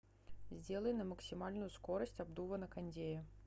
сделай на максимальную скорость обдува на кондее